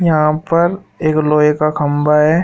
यहां पर एक लोहे का खंभा है।